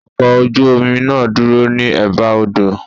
Ọkọ̀ ojú omi náà dúró ní Ẹ̀ba odò.